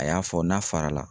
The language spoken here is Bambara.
A y'a fɔ n'a farala